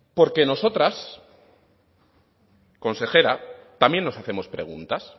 porque nosotras consejera también nos hacemos preguntas